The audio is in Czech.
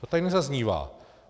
To tady nezaznívá.